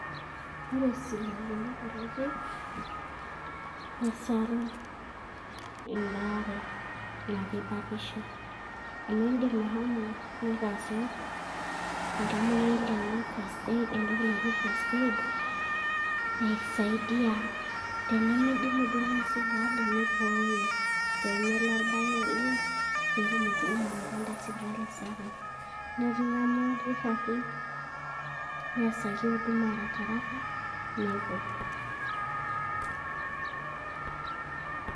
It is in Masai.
Ore sipitalini kutitik nesaru embaare natii batisho. Amu iidim ashomo nitaasi oltamoyiai lino first aid entoki naji first aid ,na keisaidia. Tenemidimu duo ina sipitali, nibooyo pemelo orbae oleng',petumokini awaita en~da sipitali sapuk. Na eking'amu irkitarrin, neasaki huduma arakiraka, nepuo.